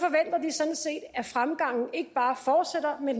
at fremgangen ikke bare fortsætter men